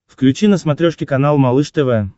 включи на смотрешке канал малыш тв